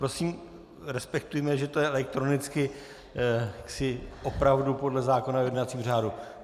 Prosím, respektujme, že to je elektronicky opravdu podle zákona o jednacím řádu.